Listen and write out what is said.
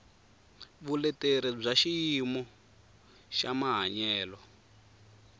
vuleteri bya xiyimo xa mahanyelo